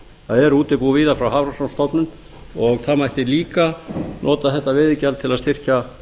það eru útibú víða frá hafrannsóknastofnun og það mætti líka nota þetta veiðigjald til að styrkja